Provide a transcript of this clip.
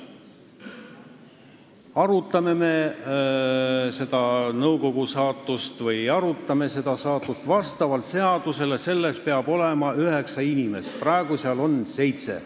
Kas me arutame selle nõukogu saatust või ei aruta, vastavalt seadusele peab seal olema üheksa inimest, praegu on seal seitse.